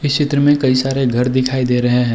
इस चित्र मे कई सारे घर दिखाई दे रहे हैं।